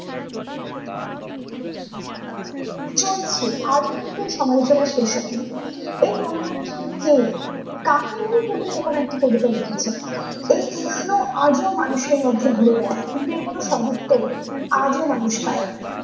চলছে, আজও কিন্তু এর সমালোচনা শেষ হয়নি । এই বনলতা সেন কে কাকে নিয়ে কবি এইরকম একটা কবিতা লিখেছেন ।এই প্রশ্ন আজও মানুষের মধ্যে ঘুরে বেড়ায়। কিন্তু এর কোনো কোনো সৎ উত্তর আজও মানুষ পায়নি ।